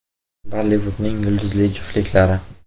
Bollivudning yulduzli juftliklari.